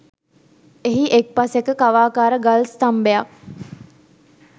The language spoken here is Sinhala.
එහි එක් පසෙක කවාකාර ගල් ස්ථම්භයක්